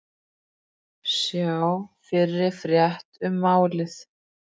Sjá fyrri frétt um málið